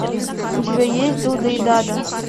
у тебя есть дуда и дада